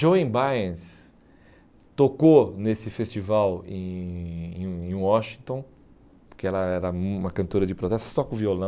Joan Baez tocou nesse festival em em em Washington, porque ela era uma cantora de protestos, toca o violão.